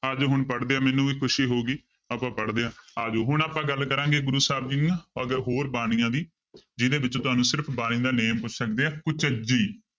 ਆ ਜਾਓ ਹੁਣ ਪੜ੍ਹਦੇ ਹਾਂ ਮੈਨੂੰ ਵੀ ਖ਼ੁਸ਼ੀ ਹੋਊਗੀ ਆਪਾਂ ਪੜ੍ਹਦੇ ਹਾਂ ਆ ਜਾਓ ਹੁਣ ਆਪਾਂ ਗੱਲ ਕਰਾਂਗੇ ਗੁਰੂ ਸਾਹਿਬ ਜੀ ਦੀਆਂ ਅੱਗੇ ਹੋਰ ਬਾਣੀਆਂ ਦੀ ਜਿਹਦੇ ਵਿੱਚ ਤੁਹਾਨੂੰ ਸਿਰਫ਼ ਬਾਣੀ ਦਾ name ਪੁੱਛ ਸਕਦੇ ਆ ਕੁਚਜੀ